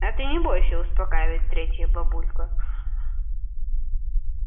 а ты не бойся успокаивает третья бабулька